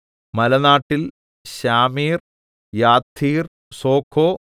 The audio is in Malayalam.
മലനാട്ടിൽ ശാമീർ യത്ഥീർ സോഖോ